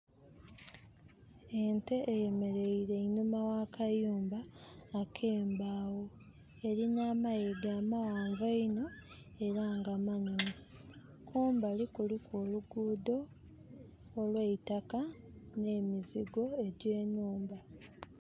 Ente eyemereire einuma wa kayumba ake mbawo. Erina amayiga mawanvu inho era nga manene. Kumbali kuliku oluguudo olweitaka ne mizigo egye nhumba